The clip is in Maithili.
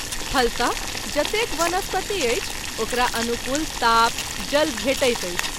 फलत: जतेक वनस्पति अछि ओकरा अनुकूल ताप , जल भेटैत अछि।